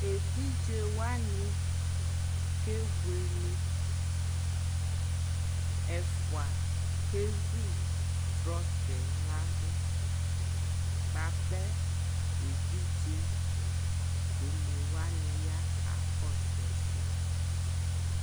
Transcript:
ɛvidzɛ wani kɛ bʋɛlɛ, ɛƒʋa kɛzʋ truckɛ ladʋ bʋapɛ ɛvidzɛ ɔnɛ wani ya kakɔsʋ ɛsɛ